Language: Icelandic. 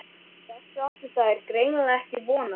Þessu áttu þær greinilega ekki von á.